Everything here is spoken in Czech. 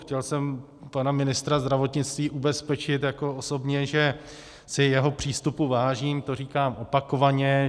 Chtěl jsem pana ministra zdravotnictví ubezpečit jako osobně, že si jeho přístupu vážím, to říkám opakovaně.